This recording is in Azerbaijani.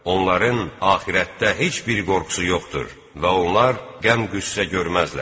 Onların axirətdə heç bir qorxusu yoxdur və onlar qəm-qüssə görməzlər.